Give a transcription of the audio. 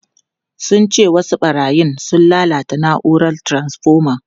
Sun ce wasu barayin sun lalata na’urar taransfoma.